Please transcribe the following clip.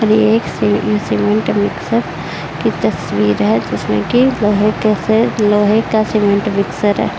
और एक cement mixer की तस्वीर है जिसमे कि लोहे के लोहे का सीमेंट मिक्सर है।